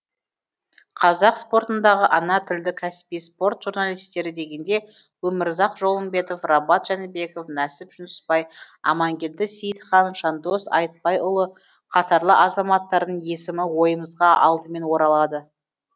қазақ спортындағы ана тілді кәсіби спорт журналистері дегенде өмірзақ жолымбетов рабат жәнібеков нәсіп жүнісбай амангелді сейітхан жандос айтбайұлы қатарлы азаматтардың есімі ойымызға алдымен оралады